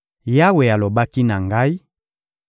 Yawe alobaki na ngai: